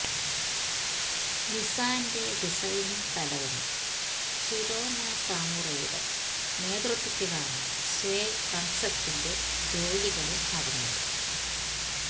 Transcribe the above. നിസ്സാന്റെ designing തലവന് Shiro നകാമുറയുടെ നേതൃത്വത്തിലാണ് സ്വേ കണ്സെപ്റ്റിന്റെ ജോലികള് നടന്നത്